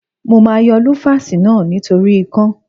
Mo máa yọ lúfásì náà nítorí ikán.